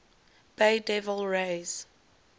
bay devil rays